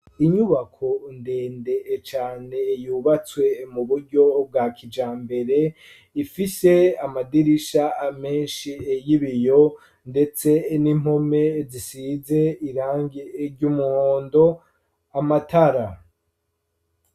Inyubako ndende cane, yubatswe mu buryo, bwa kijambere; ifise amadirisha menshi, y'ibiyo, ndetse n'impome, zisize irangi ry'umuhondo, amatara.